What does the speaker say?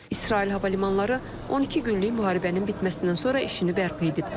İsrail hava limanları 12 günlük müharibənin bitməsindən sonra işini bərpa edib.